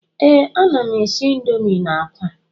Ee, ana m n'esi Indomi na akwa